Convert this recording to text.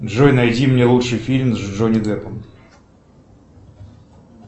джой найди мне лучший фильм с джонни деппом